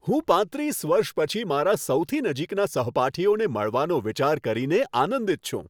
હું પાંત્રીસ વર્ષ પછી મારા સૌથી નજીકના સહપાઠીઓને મળવાનો વિચાર કરીને આનંદિત છું.